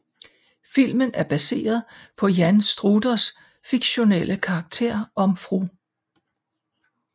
Filmen er baseret på Jan Struthers fiktionelle karakter om Fru